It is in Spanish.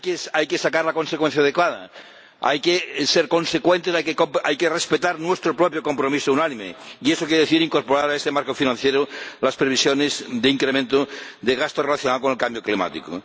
Hay que sacar la consecuencia adecuada, hay que ser consecuentes, hay que respetar nuestro propio compromiso unánime, y eso quiere decir incorporar a este marco financiero las previsiones de incremento de gasto relacionado con el cambio climático.